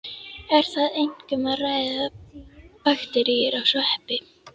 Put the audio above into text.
Er þar einkum um að ræða bakteríur og sveppi.